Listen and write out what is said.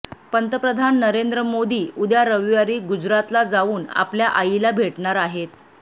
पंतप्रधान नरेंद्र मोदी उद्या रविवारी गुजरातला जाऊन आपल्या आईला भेटणार आहेत